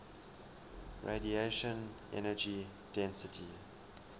radiation energy density